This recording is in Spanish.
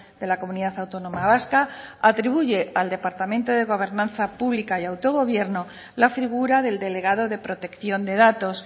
de la comunidad autónoma vasca atribuye al departamento de gobernanza pública y autogobierno la figura del delegado de protección de datos